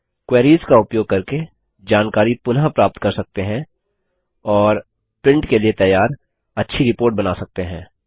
queries का उपयोग करके जानकारी पुनः प्राप्त कर सकते हैं और प्रिंट के लिए तैयार अच्छी रिपोर्ट बना सकते हैं